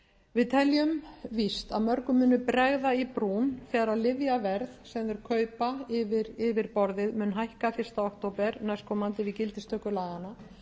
við teljum víst að mörgum muni bregða i brún þegar lyfjaverð sem þeir kaupa yfir borðið mun hækka fyrsta október næstkomandi við gildistöku laganna